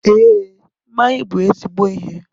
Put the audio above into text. Ee, mmanya bụ ezigbo ihe